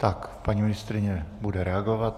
Tak paní ministryně bude reagovat.